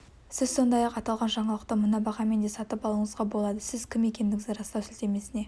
сіз сондай-ақ аталған жаңалықты мына бағамен де сатып алуыңызға болады сіз кім екендігіңізді растау сілтемесіне